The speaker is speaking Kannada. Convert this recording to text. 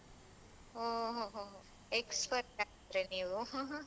ಹೊ ಹೊ ಹೊ expert ಹಾಗಾದ್ರೆ ನೀವು